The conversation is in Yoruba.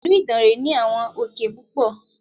Ìlú Ìdànrè ní àwọn òkè púpọ̀.